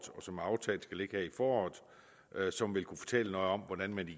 som aftalt skal ligge her i foråret som vil kunne fortælle noget om hvordan man i